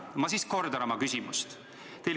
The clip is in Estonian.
Ma kordan oma küsimust.